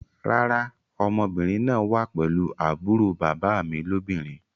Rárá, ọmọbìnrin náà wá pelu àbúrò bàbá mi lóbìnrin